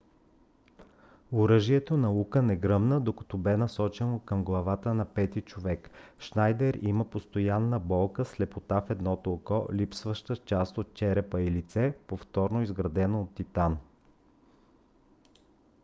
оръжието на ука не гръмна докато бе насочено към главата на пети човек. шнайдер има постоянна болка слепота в едното око липсваща част от черепа и лице повторно изградено от титан